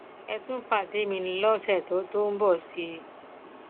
ẹ tún pàdé mi lọsẹ tó tó ń bọ sí i